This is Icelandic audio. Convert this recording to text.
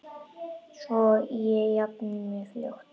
Svo ég jafni mig fljótt.